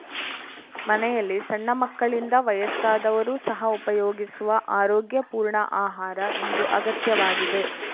ಮನೆಯಲ್ಲಿ ಸಣ್ಣ ಮಕ್ಕಳಿಂದ ವಯಸ್ಸಾದವರು ಸಹ ಉಪಯೋಗಿಸುವ ಆರೋಗ್ಯ ಪೂರ್ಣ ಆಹಾರ ಇಂದು ಅಗತ್ಯವಾಗಿದೆ